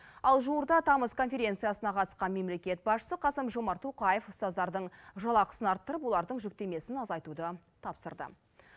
ал жуырда тамыз конференциясына қатысқан мемлекет басшысы қасым жомарт тоқаев ұстаздардың жалақысын арттырып олардың жүктемесін азайтуды тапсырды